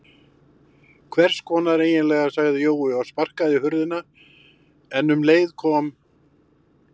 Hvess konar eiginlega sagði Jói og sparkaði í hurðina en um leið kom